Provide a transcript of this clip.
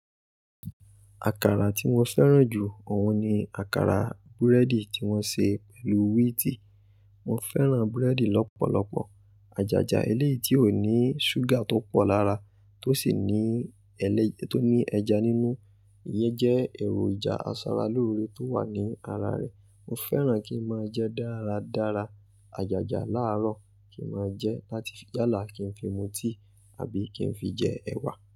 Àkàrà tí mo fẹ́ràn jù òun ni àkàrà búrẹ́dì tí wọ́n ṣe pẹ̀lú wíìtì. Mo fẹ́ràn búrẹ́dì lọ́pọ̀lọpọ̀. Àjájá eléyii tí òní ṣúgà tó pọ̀ lára, tó sì ní ẹlẹ́, tó ní ẹja nínú. Iyẹn jẹ́ èròjà asaralóore tó wà ní ara rẹ̀. Mo fẹ́ràn kí n máa jẹ dáradára àjájá làárọ̀ kí n máa jẹ láti yálà kí n fi mu tíì àbí kí n fi jẹ ẹ̀wà.